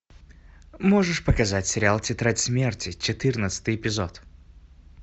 можешь показать сериал тетрадь смерти четырнадцатый эпизод